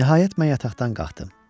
Nəhayət mən yataqdan qalxdım.